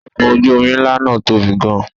Ọkọ̀ ojú-omi ńlá náà tóbi gan-an.